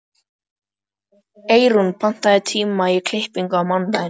Eyrún, pantaðu tíma í klippingu á mánudaginn.